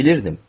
Bilirdim.